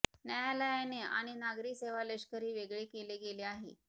न्यायालयाने आणि नागरी सेवा लष्करी वेगळे केले गेले आहे